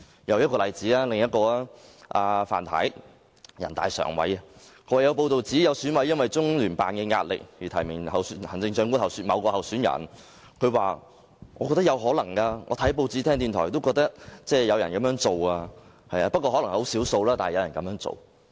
又例如，人大常委范太也說過；早前有報道指，有選委因為中聯辦的壓力而提名某位行政長官候選人，范太說她覺得這情況有可能，她看報紙和聽電台節目後也覺得有人會這樣做，可能很少數，但有人會這樣做。